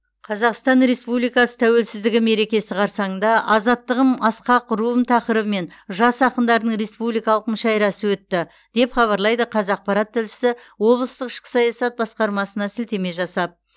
қазақстан республикасы тәуелсіздігі мерекесі қарсаңында азаттығым асқақ руым тақырыбымен жас ақындардың республикалық мүшәйрасы өтті деп хабарлайды қазақпарат тілшісі облыстық ішкі саясат басқармасына сілтеме жасап